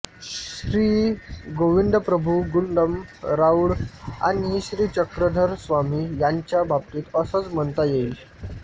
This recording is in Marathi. श्रीगोविंदप्रभु गुंडम राऊळ आणि श्रीचक्रधरस्वामी यांच्या बाबतीत असंच म्हणता येईल